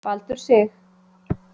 Baldur Sig